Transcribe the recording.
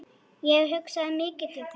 Ég hugsaði mikið til þín.